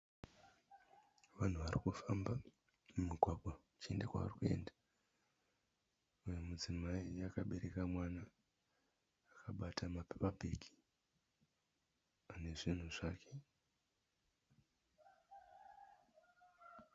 Vanhu varikufamba mumugwagwa kuenda kwavarikuenda. Mumwe mudzimai akaberaka mwana akabata mapepabhegi anezvinhu zvake.